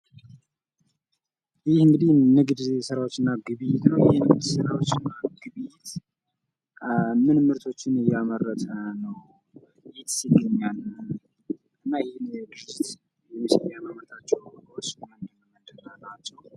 ይህ እንግዲህ ንግድ ሥራዎች እና ግብይት ነው። ይህን ንግድ ሥራዎች እና ግብይት ምን ምርቶችን እያመረተ ነው